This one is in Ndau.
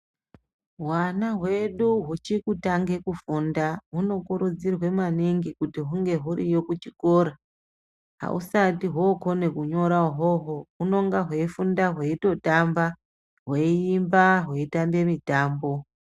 Hwana hwedu huchikutange kufunda hunokurudzirwa maningi kuti hunge huriyo kuchikora. Ahusati hwookone kunyora uhwohwo hunonga hweifunda hweitotamba hweiemba hweitambe mutambo.